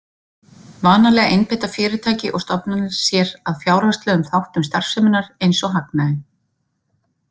Vanalega einbeita fyrirtæki og stofnanir sér að fjárhagslegum þáttum starfseminnar eins og hagnaði.